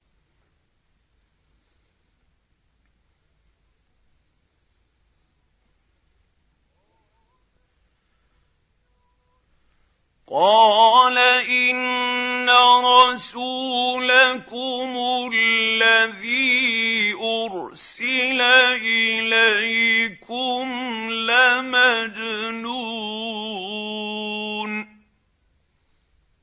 قَالَ إِنَّ رَسُولَكُمُ الَّذِي أُرْسِلَ إِلَيْكُمْ لَمَجْنُونٌ